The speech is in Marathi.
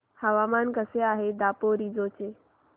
हवामान कसे आहे दापोरिजो चे